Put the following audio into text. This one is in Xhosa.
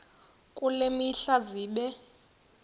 kule mihla zibe